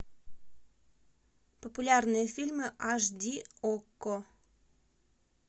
популярные фильмы аш ди окко